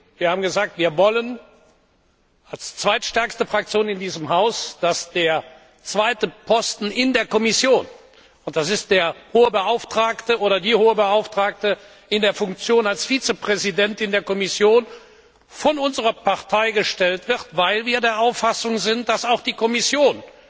Wir haben gesagt, wir wollen als zweitstärkste Fraktion in diesem Haus, dass der zweite Posten in der Kommission, das ist der Hohe Beauftragte, oder die Hohe Beauftragte, in der Funktion als Vizepräsidentin der Kommission, von unserer Partei gestellt wird, weil wir der Auffassung sind, dass auch die Kommission